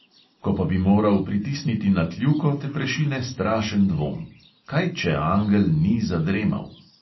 Ko pa bi moral pritisniti na kljuko, te prešine strašen dvom; kaj če angel ni zadremal?